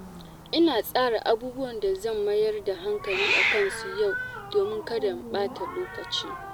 Ina tsara abubuwan da zan mayar da hankali a kansu yau domin kada in ɓata lokaci.